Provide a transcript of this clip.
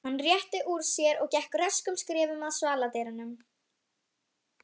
Hann rétti úr sér og gekk röskum skrefum að svaladyrunum.